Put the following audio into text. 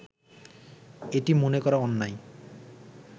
এটি মনে করা অন্যায়